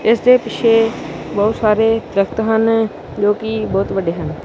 ਇਸ ਦੇ ਪਿੱਛੇ ਬਹੁਤ ਸਾਰੇ ਦਰੱਖਤ ਹਨ ਜੋ ਕਿ ਬਹੁਤ ਵੱਡੇ ਹਨ।